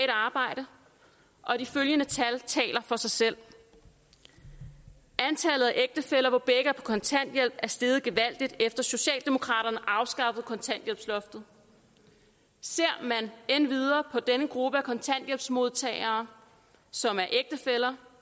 arbejde og de følgende tal taler for sig selv antallet af ægtefæller hvor begge er på kontanthjælp er steget gevaldigt efter at socialdemokraterne afskaffede kontanthjælpsloftet ser man endvidere på denne gruppe af kontanthjælpsmodtagere som er ægtefæller